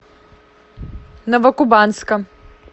новокубанска